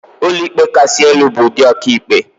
Ụlọikpe Kasị Elu bụ ụdị ọkàikpe.